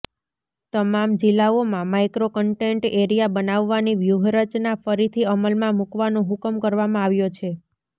તમામ જિલ્લાઓમાં micro content area બનાવવાની વ્યૂહરચના ફરીથી અમલમાં મૂકવાનો હુકમ કરવામાં આવ્યો છે